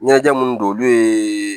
Ɲɛnajɛ munnu don olu ye